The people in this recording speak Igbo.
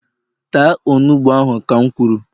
Taa onugbu ahu ka m kwuru!